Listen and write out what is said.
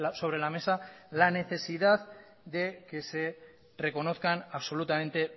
sobre la mesa la necesidad de que se reconozcan absolutamente